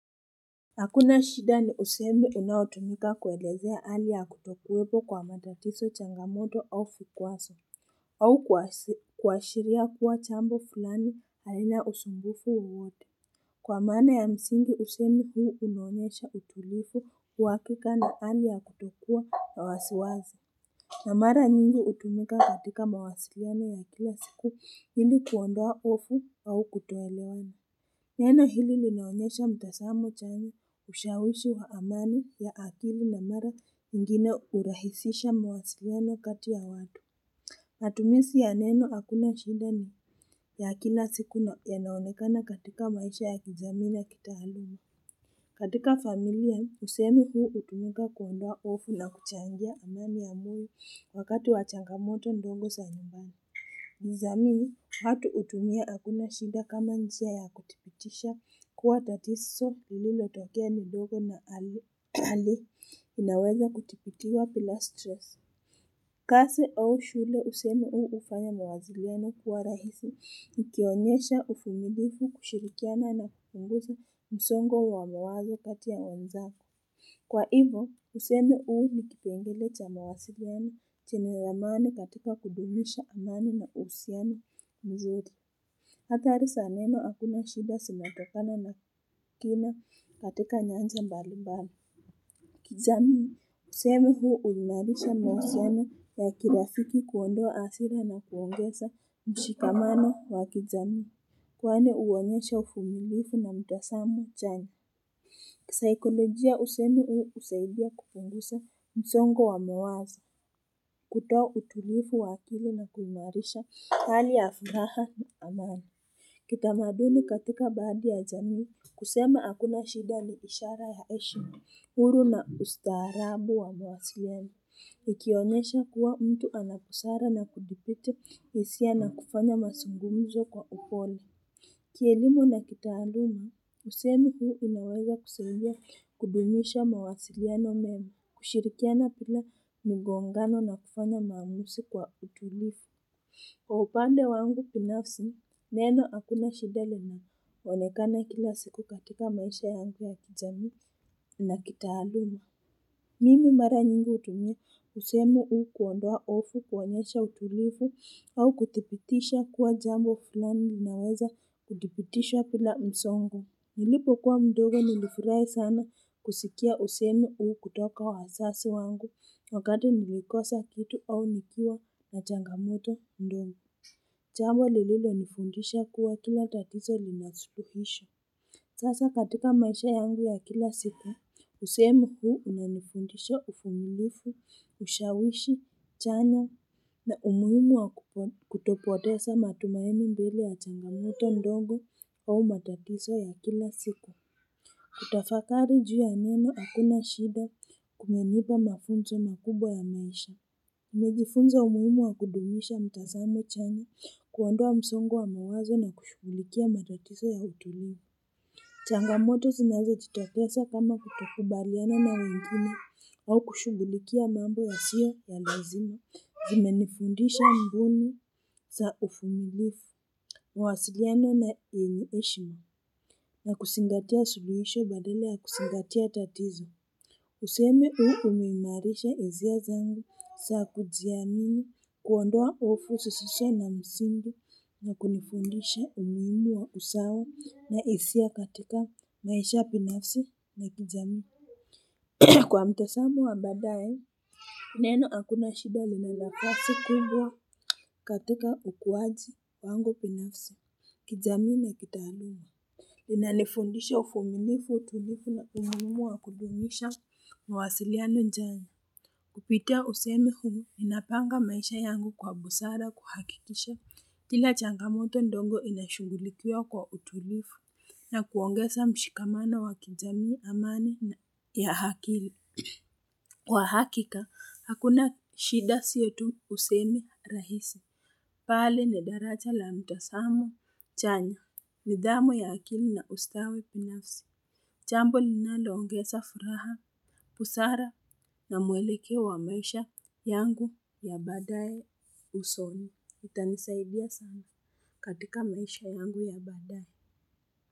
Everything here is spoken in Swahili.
Hakuna shida ni usemi unaotumika kuelezea hali ya kutokuwepo kwa matatizo changamoto au vikwazo au kuashiria kuwa jambo fulani halina usumbufu wowote Kwa maana ya msingi usemi huu unaonyesha utulivu uhakika na hali ya kutokuwa na wasiwasi na mara nyingi hutumika katika mawasiliano ya kila siku ili kuondoa hofu au kutoelewana Neno hili linaonyesha mtazamo chanyz ushawishi wa amani ya akili na mara nyingine urahisisha mwasiliano kati ya watu Matumishi ya neno hakuna shida ni ya kila siku yanaonekana katika maisha ya kijamii na kitaaluma katika familia usemi huu utumika kuondoa hofu na kuchangia amani ya moyo wakati wa changamoto ndogo za nyumbani kijamii watu hutumia hakuna shida kama njia ya kudhibitisha kuwa tatizo lilotokea ni dogo na hali inaweza kudhibitiswa bila stress. Kazi au shule usemi huu hufanya mawasiliano kuwa rahisi nikionyesha uvumilivu kushirikiana na kupunguza msongo wa mawazo kati ya wenzao. Kwa hivyo usemi huu ni kipengele cha mawasiliano chenye amani katika kudumisha amani na uhusiano mzuri athari za neno hakuna shida zinatokana na kiuno katika nyanja mbalimbali kijamii usemi huu ulainisha mahusiano ya kirafiki kuondoa hasira na kuongeza mshikaman wa kijamii Kwani uonyesha uvumilivu na mtazamo chanya kisaikolojia usemi huu husaidia kupunguza msongo wa mawazo kutoa utulivu wa akili na kuimarisha hali ya furaha na amani Kitamadini katika baadhi ya jamii kusema hakuna shida ni ishara ya heshima, huru na ustaarabu wa mawasiliano Ikionyesha kuwa mtu ana busara na kuzificha hisia na kufanya mazungumzo kwa upole Kielimu na kitaalumu, usemi huu unaweza kusaidia kudumisha mawasiliano mema, kushirikiana bila mgongano na kufanya maamuzi kwa utulifu. Kwa upande wangu binafsi, neno hakuna shida linaonekana kila siku katika maisha yangu ya kijamii na kitaalumu. Mimi mara nyingi hutumia usemi huu kuondoa hofu kuonyesha utulivu au kudhibitisha kuwa jambo fulani linaweza kudhibitishwa bila msongo. Nilipo kuwa mdogo nilifurahi sana kusikia usemi huu kutoka wazazi wangu wakati nilikosa vitu au nikiwa na changamoto ndogo. Jambo lililonifundisha kuwa kila tatizo lina suluhisho. Sasa katika maisha yangu ya kila siku, usemi huu unanifundisha uvumilvu, ushawishi, chanya, na umuhumu wa kutopoteza matumaini mbele ya changamuto ndogo au matatizo ya kila siku. Kutafakari juu ya neno hakuna shida kumenipa mafunzo makubwa ya maisha. Nimejifunza umuhimu wa kudumisha mtazamo chanya kuondoa msongo wa mawazo na kushughulikia matatizo ya utulivu. Changamoto zinazojitokeza kama kutokubaliana na wengine au kushugulikia mambo yasiyo ya lazima zimenifundisha mbinu za uvumilifu mawasiliano na heshima na kuzingatia suluhisho badala ya kuzingatia tatizo Usemi huu umeimarisha hisia zangu za kujiamini kuondoa hofu zisizo na msingi na kunifundisha umuhimu wa usawa na hisia katika maisha binafsi na kijamii Kwa mtazamo wa baadaye Neno hakuna shida lina nafasi kubwa katika ukuaji wangu binafsi kijamii na kitaaluma linanifundisha uvumilivu utulivu na umuhimu wa kudumisha mawasiliano njani kupitia usemi huu ninapanga maisha yangu kwa busara kuhakikisha kila changamoto ndogo inashungilikia kwa utulivu na kuongeza mshikamano wa kijamii amani ya akili kwa hakika hakuna shida sio tu usemi rahisi bali ni darajaa la mtazamo chanya nidhamu ya akili na ustawi binafsi jambo linaloongeza furaha busara na mwelekeo wa maisha yangu ya badaye usoni itanisaidia sana katika maisha yangu ya baadaye.